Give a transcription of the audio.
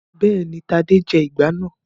Bẹ́ẹ̀ni, Tadé jẹ ìgbá náà.